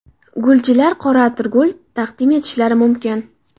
Gulchilar qora atirgul taqdim etishlari mumkin.